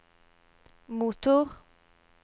motor